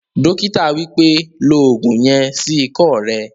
Dókítà wípẹ́, "lo ògùn yen sí ikọ́ rẹ